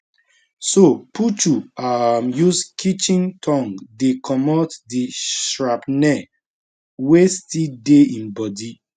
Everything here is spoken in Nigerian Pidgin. so puchu um use kitchen tong dey comot di shrapnel wey still dey im body